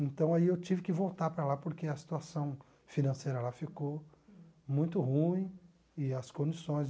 Então aí eu tive que voltar para lá porque a situação financeira lá ficou muito ruim e as condições.